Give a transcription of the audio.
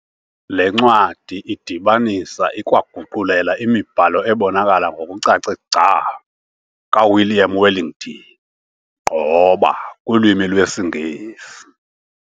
Le ncwadi idibanisa, ikwaguqulela imibhalo ebonakala ngokucace gca kaWilliam Wellington Gqoba kulwimi lwesiNgesi.